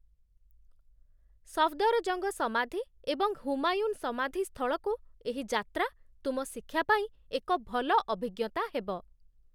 ସଫଦରଜଙ୍ଗ ସମାଧି ଏବଂ ହୁମାୟୁନ୍ ସମାଧି ସ୍ଥଳକୁ ଏହି ଯାତ୍ରା ତୁମ ଶିକ୍ଷା ପାଇଁ ଏକ ଭଲ ଅଭିଜ୍ଞତା ହେବ।